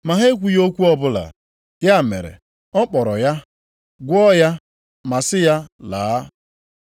Ma ha e kwughị okwu ọbụla. Ya mere ọ kpọrọ ya, gwọọ ya ma sị ya laa.